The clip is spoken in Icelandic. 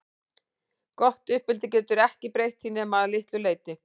Gott uppeldi getur ekki breytt því nema að litlu leyti.